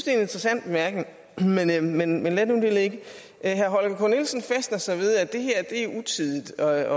er en interessant bemærkning men men lad nu det ligge herre holger k nielsen fæster sig ved at det her er utidigt at